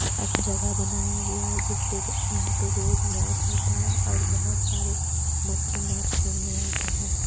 अस जगह बनाया गया है जिस पे यहाँ पे रोज मैच होता है और बहोत सारे बच्चे मैच खेलने आते हैं।